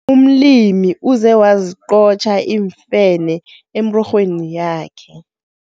Umlimi uze waziqotjha iimfene emirorhweni yakhe.